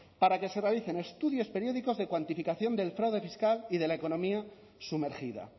para que se realicen estudios periódicos de cuantificación del fraude fiscal y de la economía sumergida